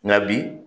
Nka bi